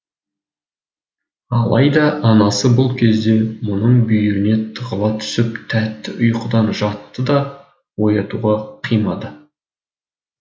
алайда анасы бұл кезде мұның бүйіріне тығыла түсіп тәтті ұйықтап жатты да оятуға қимады